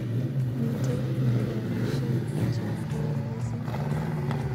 Miten olegeamishen chemaloen mising